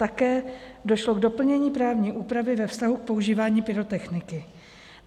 Také došlo k doplnění právní úpravy ve vztahu k používání pyrotechniky.